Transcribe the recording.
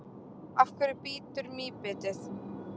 Af hverju bítur mýbitið?